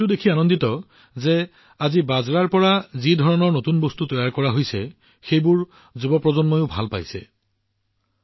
আজি মিলেটছৰ পৰা নিৰ্মাণ কৰা বিভিন্ন নতুন বস্তুবোৰ যুৱ প্ৰজন্মই সমানে পছন্দ কৰা দেখি মোৰ আনন্দ হয়